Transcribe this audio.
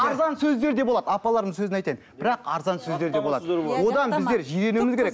арзан сөздер де болады апалардың сөзін айтайын бірақ арзан сөздер де болады одан біздер жиренуіміз керек